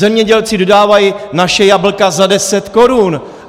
Zemědělci dodávají naše jablka za deset korun.